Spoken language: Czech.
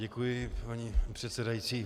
Děkuji, paní předsedající.